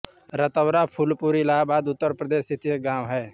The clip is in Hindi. रतौरा फूलपुर इलाहाबाद उत्तर प्रदेश स्थित एक गाँव है